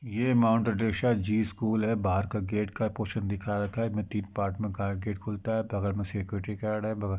ये mount G school है। बाहर का गेट का पोर्शन दिखा रखा है। इसमें तीन पार्ट में गेट खुलता है। बगल में सिक्युरिटी गार्ड है। बगल --